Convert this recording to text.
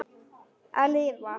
Að lifa?